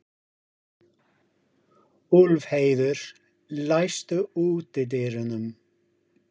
Úlfheiður, læstu útidyrunum.